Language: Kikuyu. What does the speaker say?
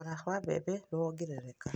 Thogora wa mbembe nĩ wongerereka